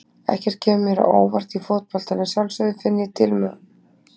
Ekkert kemur mér á óvart í fótbolta en að sjálfsögðu finn ég til með honum.